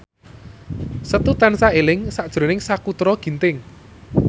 Setu tansah eling sakjroning Sakutra Ginting